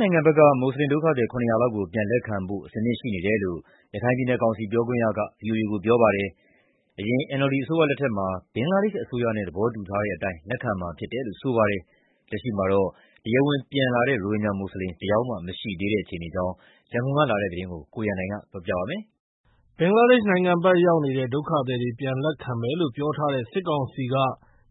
နိုင်ငံဘက်က မွတ်ဆလင်ဒုက္ခသည် ၇၀၀ လောက်ကို ပြန်လည်လက်ခံဖို့ အဆင်သင့်ရှိနေတယ်လို့ ရခိုင်ပြည်နယ်ကောင်စီ ပြောခွင့်ရက ဗွီအိုအေကို ပြောပါတယ်။ အရင် NLD အစိုးရလက်ထက်မှာ ဘင်္ဂလားဒေရှ့်အစိုးရနဲ့ သဘောတူထားတဲ့အတိုင်း လက်ခံမှာဖြစ်တယ်လို့ ပြောပါတယ်။ လက်ရှိမှာတော့ တရားဝင်ပြန်လာတဲ့ ရိုဟင်ဂျာ မွတ်ဆလင် ၁ ယောက်မှ မရှိသေးတဲ့အခြေအနေအကြောင်း ရန်ကုန်ကလာတဲ့ သတင်းကို ကိုရန်နိုင်က တင်ပြပေးထားပါတယ်။ ဘင်္ဂလားဒေရှ့်နိုင်ငံဘက်ရောက်နေတဲ့ ဒုက္ခသည်တွေ ပြန်လက်ခံမယ်လို့ ပြောထားတဲ့ စစ်ကောင်စီက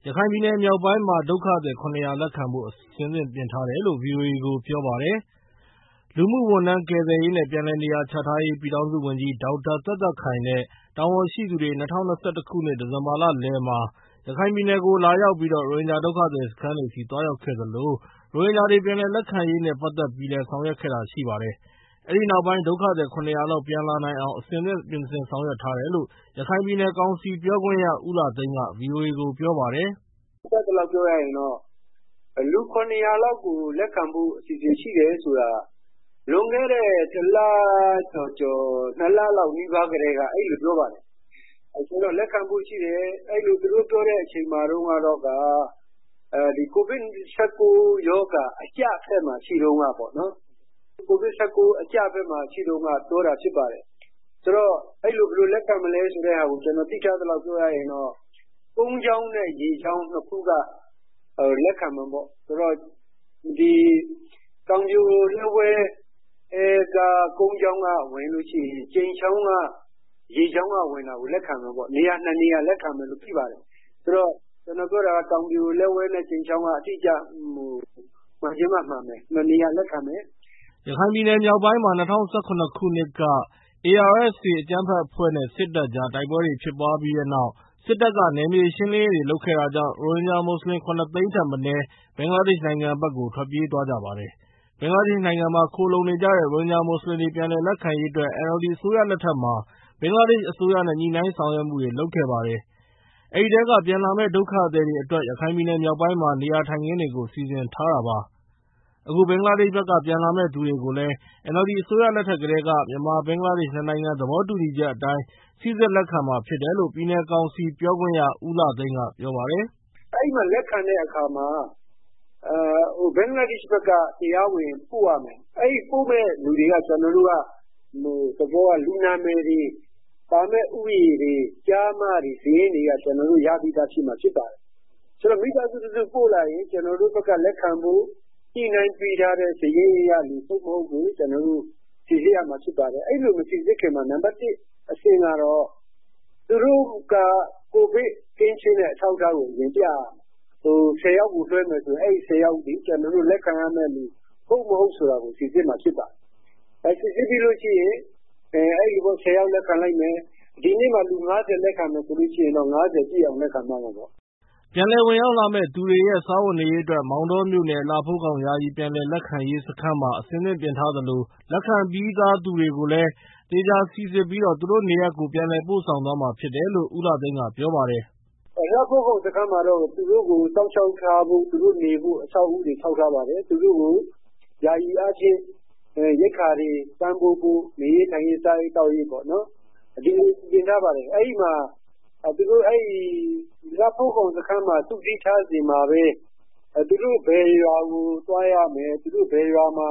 ရခိုင်ပြည်နယ်မြောက်ပိုင်းမှာ ဒုက္ခသည် ၇၀၀ လက်ခံဖို့ အဆင့်ပြင်ထားတယ် လို့ ဗွီအိုအေကိုပြောပါတယ်။ လူမှုဝန်ထမ်းကယ်ဆယ်ရေးနဲ့ ပြန်လည်နေရာချထားရေး ပြည်ထောင်စုဝန်ကြီး ဒေါက်တာသက်သက်ခိုင်နဲ့ တာဝန်ရှိသူတွေ ၂၀၂၁ ခုနှစ် ဒီဇင်ဘာလလယ်မှာ ရခိုင်ပြည်နယ်ကို လာရောက်ပြီး ရိုဟင်ဂျာ ဒုက္ခသည်စခန်းတွေ သွားရောက်ခဲ့သလို ရိုဟင်ဂျာတွေ ပြန်လည်လက်ခံရေးနဲ့ ပတ်သက်ပြီးလည်း ဆောင်ရွက်ခဲ့တာရှိပါတယ်။ အဲဒီနောက်ပိုင်း ဒုက္ခသည် ၇၀၀ လောက် ပြန်လာနိုင်အောင် အဆင်သင့် ပြင်ဆင်ဆောင်ရွက်ထားတယ်လို့ ရခိုင်ပြည်နယ် ကောင်စီ ပြောခွင့်ရ ဦးလှသိန်းက ဗွီအိုအေကို ပြောပါတယ်။ “ကျနော်သိသလောက်ပြောရရင်တော့ လူ ၇၀၀ လောက်ကို လက်ခံဖို့အစီစဉ်ရှိတယ်ဆိုတာ လွန်ခဲ့တဲ့ ၂ လလောက် နီးပါးကတည်းက အဲလိုပြောပါတယ်။ ဆိုတော့ လက်ခံဖို့ အစီစဉ်ရှိတယ်လို့ သူတို့ပြောတဲ့အချိန်က ကိုဗစ်-၁၉ ရောဂါ အကျဖက်မှာရှိတဲ့အချိန်တုန်းက ပြောတာဖြစ်ပါတယ်။ ဘယ်လိုလက်ခံမလဲဆိုတာကို ကျနော်သိထားသလောက်ပြောရရင် တော့ ကုန်းကြောင်းနဲ့ ရေကြောင်း နှစ်ခုက လက်ခံမယ်ပေါ့၊ တောင်ပြိုလက်ဝဲက ကုန်းကြောင်းကဝင်ရင် ကြိမ်ချောင်းက။ ရေကြောင်းကဝင်တာကို လက်ခံမယ်၊ နေရာ၂ နေရာ လက်ခံမယ်လို့ သိပါတယ်၊ တောင်ပြိုလက်ဝဲနဲ့ ကြိမ်ချောင်းက မှန်ချင်မှမှန်မယ်။ ၂ နေရာလက်ခံမယ်။” ရခိုင်ပြည်နယ်မြောက်ပိုင်းမှာ ၂၀၁၇ ခုနှစ်က ARSA အကြမ်းဖက်အဖွဲ့နဲ့ စစ်တပ်ကြား တိုက် ပွဲတွေ ဖြစ်ပွားခဲ့ပြီးနောက် စစ်တပ်က နယ်မြေရှင်းလင်းရေးတွေလုပ်ခဲ့တာကြောင့် ရိုဟင် ဂျာ မွတ်ဆလင် ၇ သိန်းထက်မနည်း ဘင်္ဂလားဒေရ်ှ့ နိုင်ငံဘက်ကို ထွက်ပြေးသွားကြပါတယ်။ ဘင်္ဂလားဒေရှ့်နိုင်ငံမှာ ခိုလှုံနေကြတဲ့ ရိုဟင်ဂျာ မွတ်ဆလင်တွေ ပြန်လည်လက်ခံရေးအတွက် NLD အစိုးရလက်ထက်မှာ ဘင်္ဂလားဒေရှ့်အစိုးရနဲ့ ညှိနှိုင်းဆောင်ရွက်ခဲ့ပါတယ်။ အဲဒီထဲက ပြန်လာမယ့် ဒုက္ခသည်တွေအတွက် ရခိုင်ပြည်နယ်မြောက်ပိုင်းမှာ နေရာထိုင်ခင်းတွေကို စီစဉ်ထားတာပါ။ အခုဘင်္ဂလားဒေရှ့်ဘက်က ပြန်လာမယ့်သူတွေကိုလည်း NLD အစိုးရလက်ထက်ကတည်းက မြန်မာ-ဘင်္ဂလားဒေရှ့် ၂ နိုင်ငံ သဘောတူညီချက်အတိုင်း စိစစ် လက်ခံမှာ ဖြစ်တယ်လို့လည်း ပြည်နယ်ကောင်စီပြောခွင့်ရ ဦးလှသိန်းကပြောပါတယ်။ “လက်ခံတဲ့အခါမှာ ဘင်္ဂလားဒေရှ့်ဘက်က တရားဝင်ပို့ရမယ်၊ ပို့မယ့်လူတွေရဲ့ လူနာမည်တွေ၊ လာမယ့် ဦးရေတွေ၊ ကျားမတွေ၊ စာရင်းတွေက ကျနော်တို့ရပြီးသားဖြစ်မှာ ဖြစ်တယ်၊ ဆိုတော့ မိသားစုတခု ပို့လာရင် ကျနော်တို့ဘက်က လက်ခံဖို့ ညှိနှိုင်းပေးထားတဲ့လူ ဟုတ် မဟုတ်ကို ကျနော်တို့ စိစစ်ရမှာ ဖြစ်ပါတယ်။ အဲလို မစိစစ်ခင်မှာ နံပါတ် ၁ အဆင့် ကတော့ သူတို့က ကိုဗစ်ကင်းရှင်းတဲ့ အထောက်အထားကို အရင်ပြရမယ်။ လူဆယ်ယောက် လွှဲမယ်ဆိုရင် အဲဒီလူတွေဟာ ကျနော်တို့ လက်ခံရမယ့်သူ ဟုတ် မဟုတ်ဆိုတာ ကျနော်တို့ စိစစ်ရမှာ ဖြစ်ပါတယ်၊ စိစစ်ပြီးရင် ၁၀ယောက် လက်ခံလိုက်မယ်။ ဒီနေ့ မှာ လူ ၅၀ လက်ခံမယ်ဆိုရင်တော့ ၅၀ ပြည့်အောင် လက်ခံမှာပေါ့။” ပြန်လည်ဝင်ရောက်လာမယ့် သူတွေရဲ့ စားဝတ်နေရေးအတွက် မောင်တောမြို့နယ် လှဖိုးခေါင်ယာယီ ပြန်လည်လက်ခံရေးစခန်းမှာ အဆင်သင့်ပြင်ဆင်ထားသလို လက်ခံပြီး သားသူတွေကိုလည်း သေချာစိစစ်ပြီး သူတို့နေရပ်ကို ပြန်လည်ပို့ဆောင်သွားမှာ ဖြစ်တယ် လို့လည်း ရခိုင်ပြည်နယ်ကောင်စီပြောခွင့်ရ ဦးလှသိန်းကပြောပါတယ်။ “လှဖိုးခေါင်းစခန်းမှာတော့ သူတို့နေဖို့ အဆောက်အဦးတွေ ဆောက်ထားပါတယ်။ သူတို့ ကို ယာယီအားဖြင့် ရိက္ခာတွေ ပံ့ပိုးဖို့၊ နေရေးထိုင်ရေး စားရေးသောက်ရေးပေါ့နော်၊ အကုန်စီစဉ်ထားပါတယ်။ သူတို့ကို လှဖိုးခေါင်စခန်းမှာ စုစည်းထားချိန်မှာပဲ သူတို့ဘယ်ရွာကို သွားရမယ်၊ ဘယ်ရွာမှာ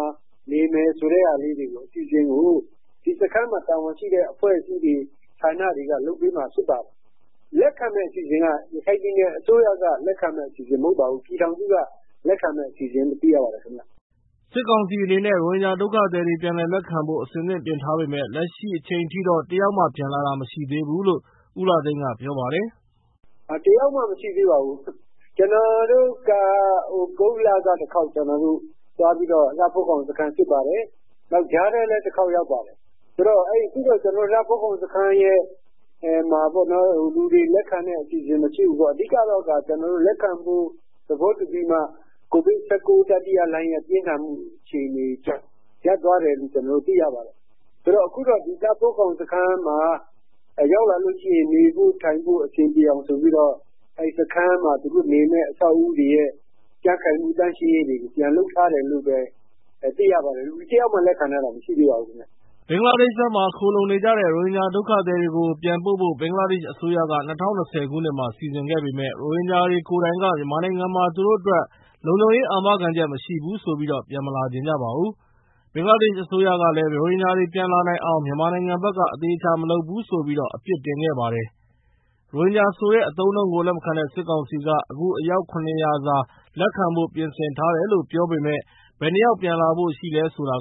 နေမယ်ဆိုတဲ့ အစီအစဉ်ကို စခန်းမှာ တာဝန်ရှိတဲ့အဖွဲ့တွေ၊ ဌာနတွေက လုပ်ပေးမှာ ဖြစ်ပါတယ်။ လက်ခံမယ့်အစီအစဉ်က ရခိုင်ပြည်နယ်အစိုးရက လက်ခံမယ့် အစီအစဉ်မဟုတ်ပါဘူး၊ ပြည်ထောင်စုက လက်ခံမယ့် အစီအစဉ်လို့ သိရပါတယ် ခင်ဗျာ။” စစ်ကောင်စီအနေနဲ့ ရိုဟင်ဂျာ ဒုက္ခသည်တွေ ပြန်လည်လက်ခံဖို့ အဆင်သင့်ပြင်ဆင် ထားပေမယ့် လက်ရှိအချိန်ထိ တယောက်မှ လက်ခံထားတာမရှိသေးဘူးလို့လည်း ပြည်နယ်ကောင်စီပြောခွင့်ရ ဦးလှသိန်းကပြောပါတယ်။ “တယောက်မှ မရှိသေးပါဘူး။ ကျနော်တို့က သြဂုတ်လက လှဖိုးခေါင်စခန်းကို တခေါက်သွားပြီးတော့ စစ်ပါတယ်။ နောက်ကြားထဲလည်း တျခါက် ရောက်ပါတယ်။ ဆိုတော့ လှဖိုးခေါင်စခန်းမှာ လူတွေလက်ခံတဲ့ အစီအစဉ်မရှိဘူးပေါ့။ အဓိကတော့ လက်ခံဖို့ သဘောတူပြီးမှ ကိုဗစ်-၁၉ တတိယလှိုင်းပြင်းထန်မှုကြောင့် ရပ်သွားတယ်လို့ ကျနော်တို့ သိရပါတယ်။ အခုတော့ လှဖိုးခေါင်စခန်းမှာ ရောက်လာလို့ရှိရင် နေဖို့ ထို်င်ဖို့ အဆင်ပြေအောင် ဆိုပြီးတော့ အဆောင်တွေရဲ့ ကြံခိုင်မှုနဲ့ သန့်ရှင်းရေးတွေ ပြန်လုပ်ထားတယ်လို့ သိရပါတယ်။ လူတယောက်မှ လက်ခံထားတာ မရှိသေးပါဘူးခင်မျာ။ ” ဘင်္ဂလားဒေရှ့်ဘက်မှာ ခိုလှုံနေကြတဲ့ ရိုဟင်ဂျာဒုက္ခသည်တွေကို ပြန်ပို့ဖို့ ဘင်္ဂလားဒေရှ့် အစိုးရက ၂၀၂၀ ခုနှစ်မှာ စီစဉ်ခဲ့ပေမယ့် ရိုဟင်ဂျာတွေကိုယ်တိုင်က မြန်မာနိုင်ငံမှာ သူတို့ အတွက် လုံခြုံရေးအာမခံချက် မရှိဘူးဆိုပြီး ပြန်မလာချင်ကြပါဘူး။ ဘင်္ဂလားဒေရှ့်အစိုးရကလည်း ရိုဟင်ဂျာတွေ ပြန်လာနိုင်အောင် မြန်မာနိုင်ငံဘက်က အသေအချာ မလုပ်ဘူးဆိုပြီး အပြစ်တင်ခဲ့ပါတယ်။ ရိုဟင်ဂျာဆိုတဲ့ အသုံးအနှုန်းကိုလက်မခံတဲ့ စစ်ကောင်စီက အခု အယောက် ၇၀၀ စာ လက်ခံဖို့ ပြင်ဆင်ထားတယ်လို့ ပြောပေမယ့် ဘယ်နှစ်ယောက်ပြန်လာဖို့ရှိလဲနေလဲဆိုတာ